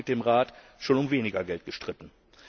Wir haben uns mit dem Rat schon um weniger Geld gestritten.